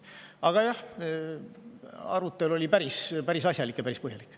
Aga jah, arutelu oli päris asjalik ja päris põhjalik.